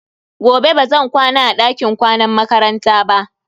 Gobe bazan kwana a dakin kwanan makaranta ba.